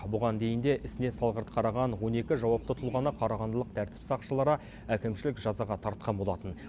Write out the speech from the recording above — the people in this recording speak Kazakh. бұған дейін де ісіне салғырт қараған он екі жауапты тұлғаны қарағандылық тәртіп сақшылары әкімшілік жазаға тартқан болатын